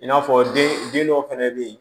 I n'a fɔ den dɔw fɛnɛ bɛ yen